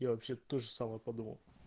я вообще то же самое подумал